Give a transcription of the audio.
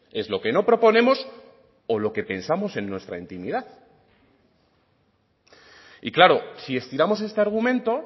es lo que no proponemos o lo que pensamos en nuestra intimidad y claro si estiramos este argumento